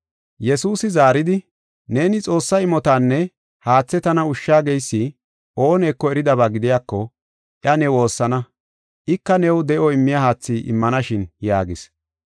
Yesuusi zaaridi, “Neeni Xoossa imotanne haathe tana ushsha geysi ooneko eridaba gidiyako iya ne woossana; ika new de7o immiya haathi immanashin” yaagis.